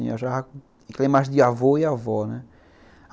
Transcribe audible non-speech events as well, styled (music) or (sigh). (unintelligible) imagem de avô e avó, né.